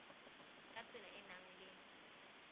ka tsela e nang le